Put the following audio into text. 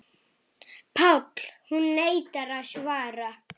PÁLL: Hún neitar að svara.